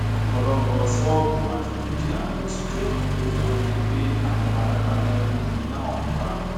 ọpọlọpọ ṣọọbù àti dúkìá ló ti jóná kó tóó di pé àwọn panápaná rí iná ọhún pa